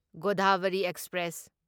Godavari express